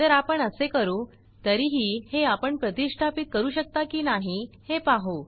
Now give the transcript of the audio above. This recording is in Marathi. तर आपण असे करू तरीही हे आपण प्रतिष्ठापीत करू शकता की नाही हे पाहू